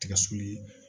Tigɛ sɔli